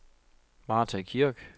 Martha Kirk